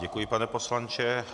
Děkuji, pane poslanče.